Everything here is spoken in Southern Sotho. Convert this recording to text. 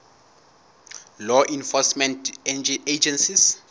law enforcement agencies